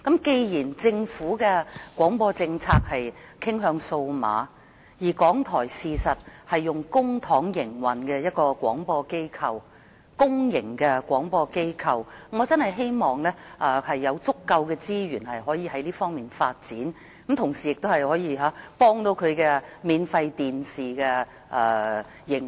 既然政府的廣播政策是傾向數碼廣播，而港台是一間用公帑營運的公營廣播機構，我真的希望港台有足夠資源可以發展數碼廣播，同時亦可以幫助免費電視的營運。